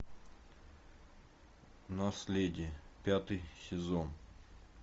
наследие пятый сезон